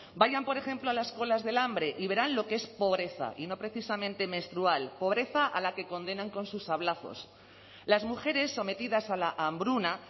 vayan por ejemplo a las colas del hambre y verán lo que es pobreza y no precisamente menstrual pobreza a la que condenan con sus sablazos las mujeres sometidas a la hambruna